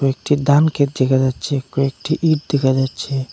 একটি ধানক্ষেত দেখা যাচ্ছে কয়েকটি ইট দেখা যাচ্ছে।